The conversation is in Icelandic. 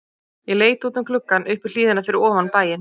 Ég leit út um gluggann upp í hlíðina fyrir ofan bæinn.